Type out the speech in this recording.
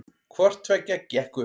Hvorttveggja gekk upp